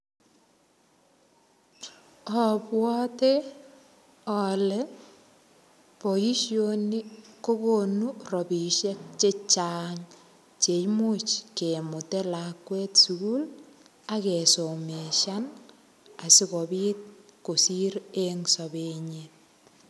Abwate ale boisoni kokonu rabisiek chechang cheimuch kemute lakwet sukul, akesomeshan, asikobit kosir eng sapet nyi.